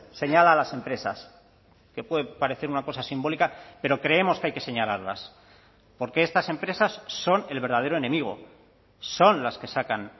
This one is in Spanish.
señala a las empresas que puede parecer una cosa simbólica pero creemos que hay que señalarlas porque estas empresas son el verdadero enemigo son las que sacan